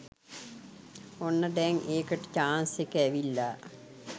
ඔන්න දැං ඒකට චාන්ස් එක ඇවිල්ල.